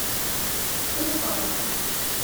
ухова